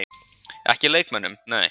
Ekki leikmönnum, nei.